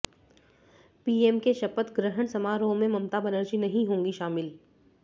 PM के शपथ ग्रहण समारोह में ममता बनर्जी नहीं होगी शामिल